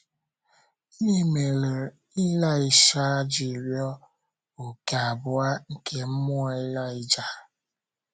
Gịnị mere Ịlaịsha ji rịọ “ òkè abụọ ” nke mmụọ Ịlaịja?